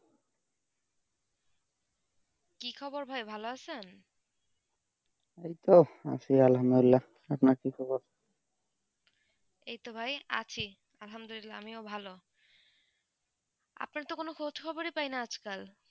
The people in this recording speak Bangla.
কি খবর ভাই ভালো আছেন এই তো আছি আপনার কি খবর এই তো ভাই আছি আমিও ভালো আপনার তো কোনো খোঁজখবর পাইনা আজ কাল.